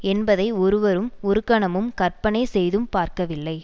என்பதை ஒருவரும் ஒருகணமும் கற்பனை செய்தும் பார்க்கவில்லை